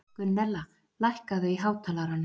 Gunnella, lækkaðu í hátalaranum.